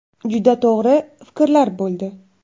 Juda to‘g‘ri fikrlar bo‘ldi.